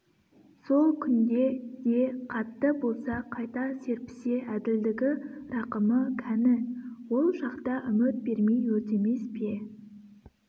сол күнде де қатты болса қайта серпісе әділдігі рақымы кәні ол шақта үміт бермей өртемес пе